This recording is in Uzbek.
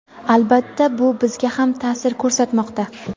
Albatta, bu bizga ham taʼsir ko‘rsatmoqda.